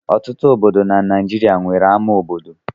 Ọtụtụ obodo na Naịjirịa nwere ama obodo.